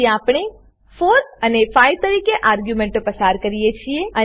ફરીથી આપણે 4 અને 5 તરીકે આર્ગ્યુંમેંટો પસાર કરીએ છીએ